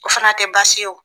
O fana tɛ baasi y'o.